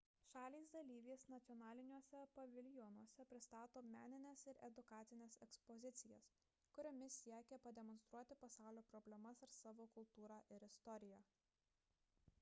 šalys dalyvės nacionaliniuose paviljonuose pristato menines ir edukacines ekspozicijas kuriomis siekia pademonstruoti pasaulio problemas ar savo kultūrą ir istoriją